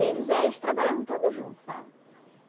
Eles eh eles trabalhavam tudo junto, sabe?